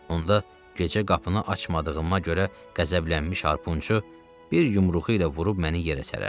Onda gecə qapını açmadığıma görə qəzəblənmiş harpunçu bir yumruğu ilə vurub məni yerə sərərdi.